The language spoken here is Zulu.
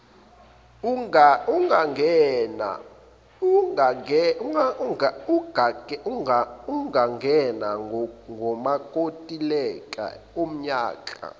ungangena kumakontileka onyaka